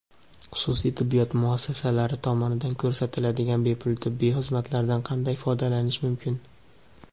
Xususiy tibbiyot muassasalari tomonidan ko‘rsatiladigan bepul tibbiy xizmatlardan qanday foydalanish mumkin?.